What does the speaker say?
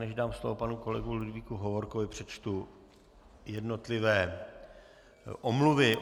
Než dám slovo panu kolegovi Ludvíku Hovorkovi, přečtu jednotlivé omluvy.